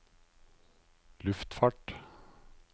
luftfart